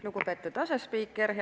Lugupeetud asespiiker!